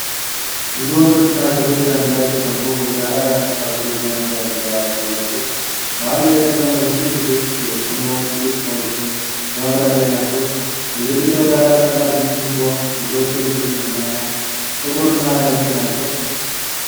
ብዙ ወንዶችና ሴቶች አንድ ላይ ተቀምጠው የጋራ የአበሳሰል ወይም የአመጋገብ ባህል ያሳያሉ። መሃል ላይ የተቀመጠ ትልቅ ድስት የፍርኖ ጥቂት ሰዎችም በመብላት ላይ ናቸው። የግድግዳው ዳራ ቀላል ቡኒ ሲሆን፣ የሰዎቹ ልብሶች ቡናማ፣ ጥቁርና ነጭ ናቸው።